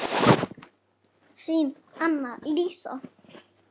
Þín, Anna Lísa.